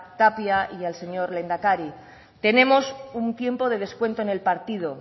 tapia y al señor lehendakari tenemos un tiempo de descuento en el partido